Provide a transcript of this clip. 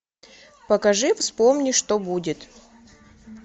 покажи вспомни что будет